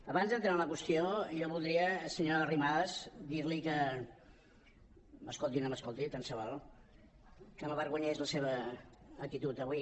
abans d’entrar en la qüestió jo voldria senyora arrimadas dir li que m’escolti o no m’escolti tant se val m’avergonyeix la seva actitud avui